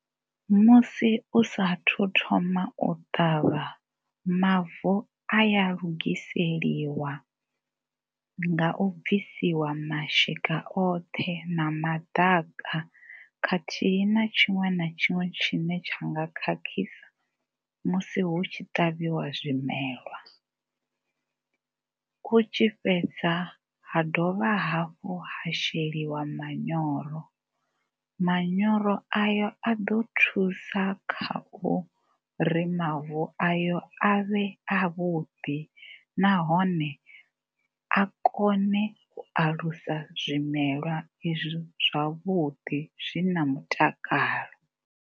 Musi u sa thu thoma u ṱavha mavu a ya lugiseliwa nga u fhisiwa mashika oṱhe na maḓaka khathihi na tshiṅwe na tshiṅwe tshine tshi nga khakhisa musi hu tshi ṱavhiwa zwimelwa. Hu tshi fhedza ha dovha hafhu ha sheliwa manyoro, manyoro ayo a ḓo thusa kha uri mavu ayo a vhe avhuḓi nahone a kone u alusa zwimelwa izwi zwavhuḓi zwi na mutakalo.